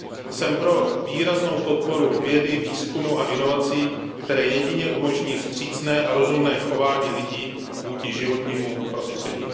Jsem pro výraznou podporu vědy, výzkumu a inovací, které jedině umožní vstřícné a rozumné chování lidí vůči životnímu prostředí.